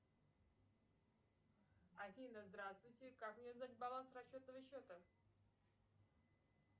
афина здравствуйте как мне узнать баланс расчетного счета